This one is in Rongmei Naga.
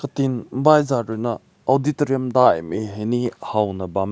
tin baizat rui na auditorium dai ne hai ne haw bam meh.